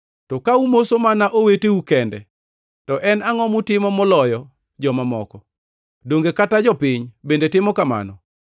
To ka umoso mana oweteu kende to en angʼo mutimo moloyo joma moko? Donge kata jopiny bende timo kamano?